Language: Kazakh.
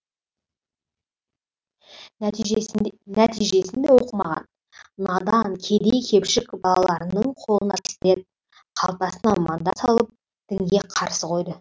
нәтижесін нәтижесінде оқымаған надан кедей кепшік балаларының қолына пистолет қалтасына мандат салып дінге қарсы қойды